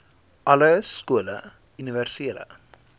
alle skole universele